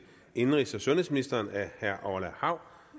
indenrigs og sundhedsministeren af herre orla hav